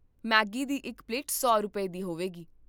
Maggi ਦੀ ਇੱਕ plate ਸੌ ਰੁਪਏ, ਦੀ ਹੋਵੇਗੀ